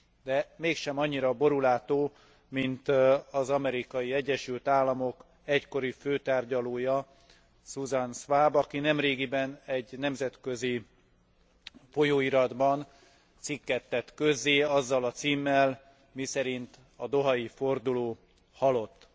De mégsem annyira borúlátó, mint az Amerikai Egyesült Államok egykori főtárgyalója, Susan Swab, aki nemrégiben egy nemzetközi folyóiratban cikket tett közzé azzal a címmel, miszerint a dohai forduló halott.